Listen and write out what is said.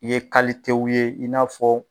I ye ye i n'a fɔ